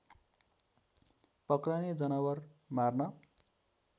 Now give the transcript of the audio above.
पक्रने जनावर मार्न